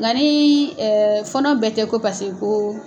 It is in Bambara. Nka ni fɔnɔ bɛɛ tɛ ko paseke ko